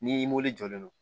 Ni jɔlen don